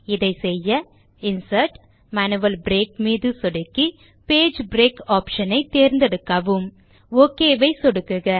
இதை செய்ய இன்சர்ட் ஜிடிஜிடி மேனுவல் பிரேக் மீது சொடுக்கி பேஜ் பிரேக் ஆப்ஷன் ஐ தேர்ந்தெடுக்கவும் ஒக் மீது சொடுக்குக